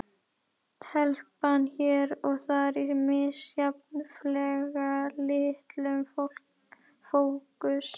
Telpan hér og þar í misjafnlega litlum fókus.